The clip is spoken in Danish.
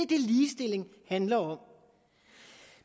det ligestilling handler om